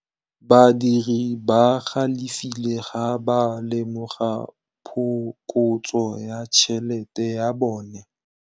Badiri ba galefile fa ba lemoga phokotsô ya tšhelête ya bone.